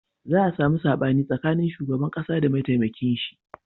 Za a samu saɓani tsakanin shugaban ƙasa da mataimakin shi